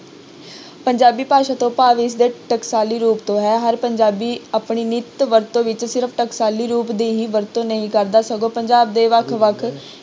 ਪੰਜਾਬੀ ਭਾਸ਼ਾ ਤੋਂ ਭਾਵ ਇਸਦੇ ਟਕਸਾਲੀ ਰੂਪ ਤੋਂ ਹੈ ਹਰ ਪੰਜਾਬੀ ਆਪਣੀ ਨਿਤ ਵਰਤੋਂ ਵਿੱਚ ਸਿਰਫ਼ ਟਕਸਾਲੀ ਰੂਪ ਦੀ ਹੀ ਵਰਤੋਂ ਨਹੀ ਕਰਦਾ ਸਗੋਂ ਪੰਜਾਬ ਦੇ ਵੱਖ ਵੱਖ